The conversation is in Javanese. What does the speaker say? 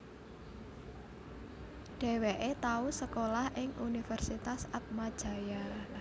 Dheweke tau sekolah ing Universitas Atmajaya